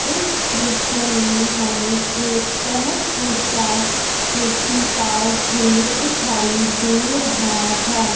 इस दृश्य मे हमे एक बहोत ऊंचा मिट्टी का ढेर दिखाई दे रहा है।